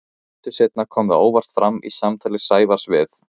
Stuttu seinna kom það óvart fram í samtali Sævars við